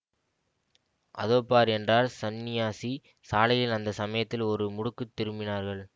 அதோ பார் என்றார் சந்நியாசி சாலையில் அந்த சமயத்தில் ஒரு முடுக்கு திரும்பினார்கள்